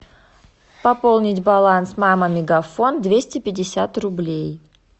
пополнить баланс мама мегафон двести пятьдесят рублей